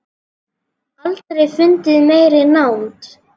Aldrei fundið meiri nánd.